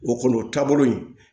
O kɔni o taabolo in